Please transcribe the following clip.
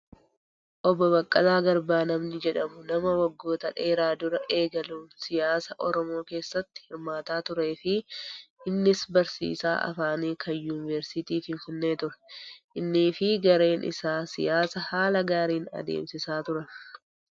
Obbo Baqqalaa Garbaa namni jedhamu nama waggoota dheeraa duraa eegaluun siyaasaa oromoo keessatti hirmaataa turee fi innis barsiisaa afaanii kan yuunivarsiitii Finfinnee ture. Innis fi gareen isaa siyaasa haala gaariin adeemsisaa turan